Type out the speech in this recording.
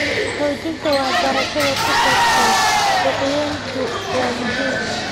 Xoojinta waxbarashada ku saabsan suuqgeyntu waa muhiim.